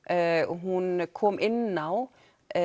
hún kom inn á